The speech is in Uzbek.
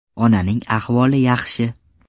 Onaning ahvoli yaxshi.